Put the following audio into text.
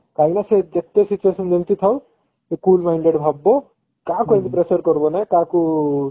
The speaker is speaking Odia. କାହିଁକି ନା ସେ ଯେତେ situation ଯେମିତି ଥାଉ ସେ cool minded ଭାବିବ କାହାକୁ କାହାକୁ ଏମିତି pressure କରିବ ନାଇ କାହାକୁ